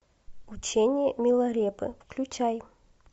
учение миларепы включай